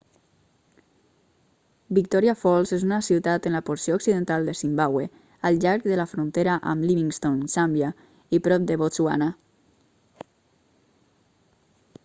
victoria falls és una ciutat en la porció occidental de zimbàbue al llarg de la frontera amb livingstone zàmbia i prop de botswana